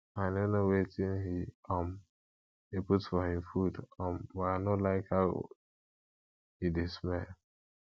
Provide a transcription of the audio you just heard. i no know wetin he um dey put for him food um but i no like how e dey how e dey smell